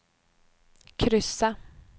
kryssa